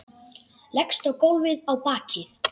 Leggst á gólfið á bakið.